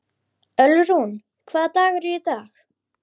Ölrún, hvaða dagur er í dag?